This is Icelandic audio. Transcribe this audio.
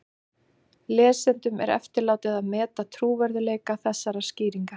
Lesendum er eftirlátið að meta trúverðugleika þessarar skýringar.